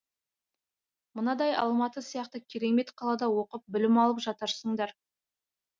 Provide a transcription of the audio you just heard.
мынадай алматы сияқты керемет қалада оқып білім алып жатырсыңдар